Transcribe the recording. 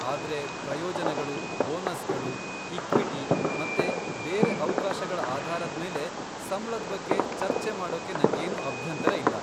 ಆದ್ರೆ ಪ್ರಯೋಜನಗಳು, ಬೋನಸ್ಗಳು, ಇಕ್ವಿಟಿ ಮತ್ತೆ ಬೇರೆ ಅವ್ಕಾಶಗಳ ಆಧಾರದ್ಮೇಲೆ ಸಂಬ್ಳದ್ ಬಗ್ಗೆ ಚರ್ಚೆ ಮಾಡೋಕೆ ನಂಗೇನು ಅಭ್ಯಂತರ ಇಲ್ಲ.